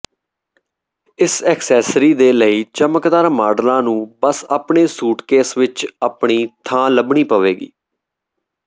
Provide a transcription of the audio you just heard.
ਇਸ ਐਕਸੈਸਰੀ ਦੇ ਕਈ ਚਮਕਦਾਰ ਮਾਡਲਾਂ ਨੂੰ ਬਸ ਆਪਣੇ ਸੂਟਕੇਸ ਵਿੱਚ ਆਪਣੀ ਥਾਂ ਲੱਭਣੀ ਪਵੇਗੀ